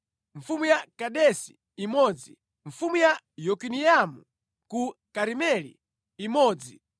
mfumu ya Kadesi imodzi mfumu ya Yokineamu ku Karimeli imodzi